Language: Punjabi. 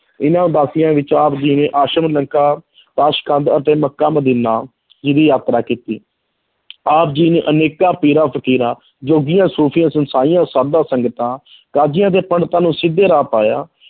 ਇਹਨਾਂ ਉਦਾਸੀਆਂ ਵਿੱਚ ਆਪ ਜੀ ਨੇ ਤਾਸਕੰਦ ਅਤੇ ਮੱਕਾ ਮਦੀਨਾ ਜੀ ਦੀ ਯਾਤਰਾ ਕੀਤੀ ਆਪ ਜੀ ਨੇ ਅਨੇਕਾਂ ਪੀਰਾ ਫ਼ਕੀਰਾਂ ਜੋਗੀਆਂ ਸੂਫ਼ੀਆਂ ਸਾਧਾਂ ਸੰਗਤਾਂ ਕਾਜੀਆਂ ਤੇ ਪੰਡਿਤਾਂ ਨੂੰ ਸਿੱਧੇ ਰਾਹ ਪਾਇਆ।